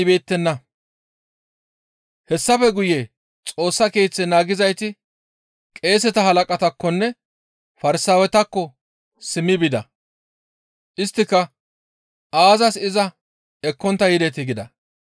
Hessafe guye Xoossa Keeththe naagizayti qeeseta halaqataakkonne Farsaawetakko simmi bida. Isttika, «Aazas iza ekkontta yidetii?» gida.